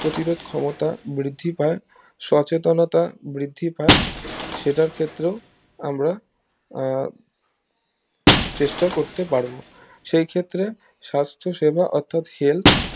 প্রতিরোধ ক্ষমতা বৃদ্ধি পায় সচেনতা বৃদ্ধি পায় সেটার ক্ষেত্রেও আমরা আহ চেষ্টা করতে পারবো সেই ক্ষেত্রে সাস্থ সেবা অর্থাৎ health